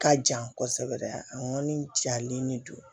Ka jan kosɛbɛ an kɔni jalen de don